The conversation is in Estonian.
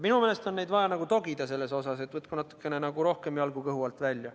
Minu meelest on neid vaja selles osas nagu togida, et võtku natukene rohkem jalgu kõhu alt välja.